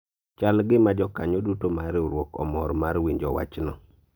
chal gima jokanyo duto mar riwruok omor mar winjo wachno